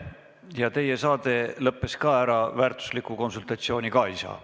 Ka teie saade lõppes ära, nii et sealtki ei saa enam väärtuslikku konsultatsiooni.